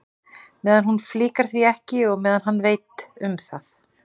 Meðan hún flíkar því ekki og meðan hann veit um það.